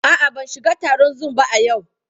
A'a, ban shiga taron Zoom ba a yau.